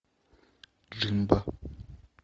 джимбо